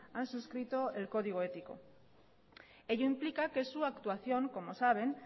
han suscrito el código ético ello implica que su actuación como saben